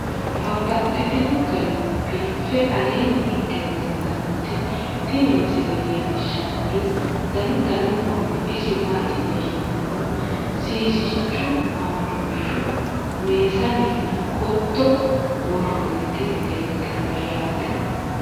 Babaxxittinno garinni biiffe aleenni hige leelittannotti tinni misile lelishshanori danu danunkunni isi maattiya yinummoro sisichu, madooshu, meesanne, qotto woroonnitti leelittanno yaatte